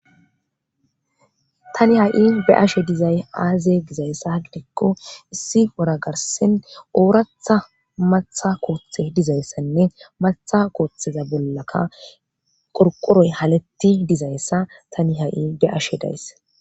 Tani ha7i be ashe dizay aaze gizayssa dikko issi wora garsen ooratha matha kooththe dizayssanne matha kooththeza bollaka qorqoroy halatti dizayssa tani ha7i be ashe days.